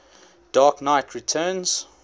dark knight returns